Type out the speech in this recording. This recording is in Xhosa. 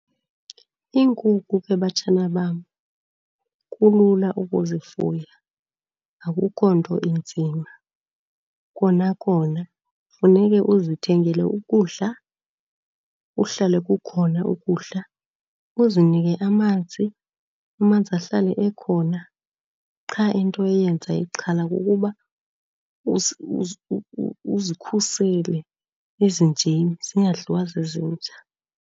Iinkukhu ke batshana bam kulula ukuzifuya akukho nto inzima. Kona kona funeke uzithengele ukudla, kuhlale kukhona ukudla. Uzinike amanzi, amanzi ahlale ekhona. Qha into eyenza ixhala kukuba uzikhulisele ezinjeni, zingadliwa zizinja.